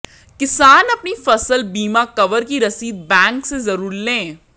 किसान अपनी फसल बीमा कवर की रसीद बैंक से जरूर लें